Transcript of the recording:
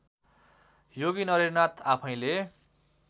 योगी नरहरिनाथ आफैँले